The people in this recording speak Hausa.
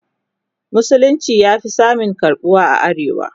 musulunci ya Fi samun karɓuwa a arewa